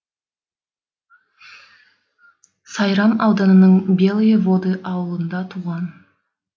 сайрам ауданының белые воды ауылында туған